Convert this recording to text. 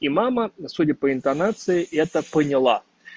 и мама судя по интонации это поняла